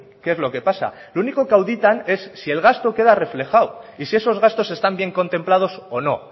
qué es lo que pasa lo único que auditan es si el gasto queda reflejado y si esos gastos están bien contemplados o no